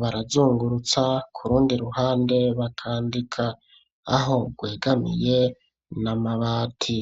barazungurutsa ku rundi ruhande bakandika aho rwegamiye n'amabati.